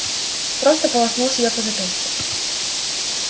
просто полоснул себя по запястью